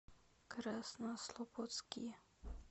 краснослободске